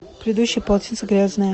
предыдущее полотенце грязное